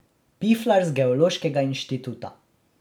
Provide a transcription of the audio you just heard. Piflar z geološkega inštituta.